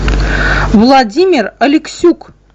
владимир алексюк